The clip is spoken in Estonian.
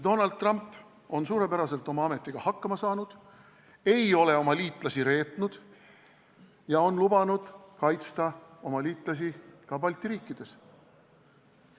Donald Trump on suurepäraselt oma ametiga hakkama saanud, ei ole oma liitlasi reetnud ja on lubanud kaitsta oma liitlasi ka Balti riikides.